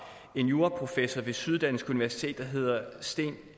en juraprofessor ved syddansk universitet der hedder sten